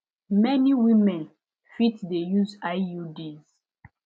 many women fit de use iuds